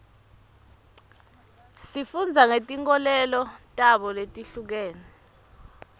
sifunda ngetinkolelo tabo letihlukene